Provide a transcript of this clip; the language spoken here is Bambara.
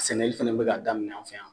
Sɛnɛli fɛnɛ be k'a daminɛ an fɛ yan